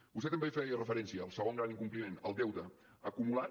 vostè també hi feia referència al segon gran incompliment el deute acumulat